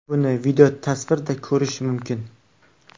Buni videotasvirda ko‘rish mumkin.